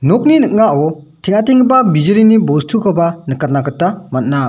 nokni ning·ao teng·atenggipa bijolini bostukoba nikatna gita man·a.